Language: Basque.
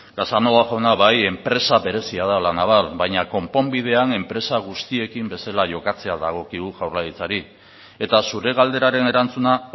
casanova jauna bai enpresa berezia da la naval baina konponbidean enpresa guztiekin bezala jokatzea dagokigu jaurlaritzari eta zure galderaren erantzuna